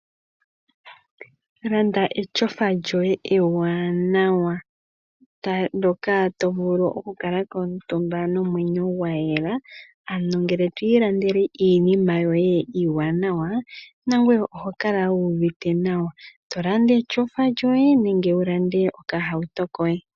Landa etyofa lyoye ewanawa ndoka tovulu okukala ko omutumba nomwenyo gwayela ano ngele to ilandele iinima yoye iiwanawa nangoye oho kala wuuvite nawa tolanda etyofa lyoye nenge okahauto kohe.